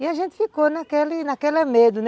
E a gente ficou naquele naquele medo, né?